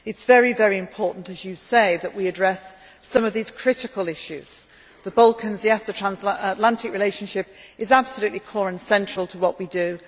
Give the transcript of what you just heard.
It is very important, as you say, that we address some of these critical issues the Balkans and the transatlantic relationship are absolutely core and central to what we